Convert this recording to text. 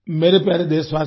मेरे प्यारे देशवासियो